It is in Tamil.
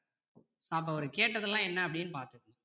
அப்போ அவரு கேட்டதுலாம் என்ன அப்படின்னு பார்த்தா